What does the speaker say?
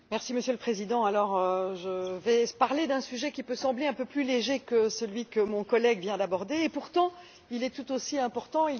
Monsieur le Président, je vais parler d'un sujet qui peut sembler un peu plus léger que celui que mon collègue vient d'aborder, et pourtant il est tout aussi important.